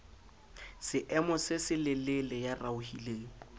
seemo se selelele ya raohileng